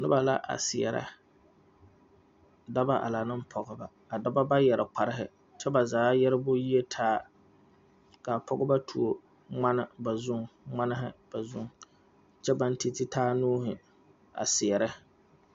Noba la a seɛrɛ dɔbɔ a laŋ ne pɔgeba a dɔbɔ ba yɛre kparehi kyɛ ba zaa yɛrebo yiitaa ka a pɔge tuo ŋmane ŋmanehi ba zuŋ kyɛ baŋ titi taa nuuhi a seɛrɛ.